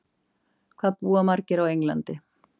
hvað búa margir á englandi